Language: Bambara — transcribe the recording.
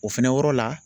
O fɛnɛ yɔrɔ la